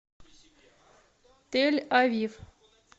тель авив